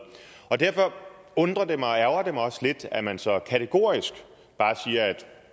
derfor undrer det mig og ærgrer mig også lidt at man så kategorisk bare siger at